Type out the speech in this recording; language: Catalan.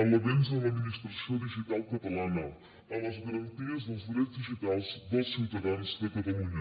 en l’avenç en l’administració digital catalana en les garanties dels drets digitals dels ciutadans de catalunya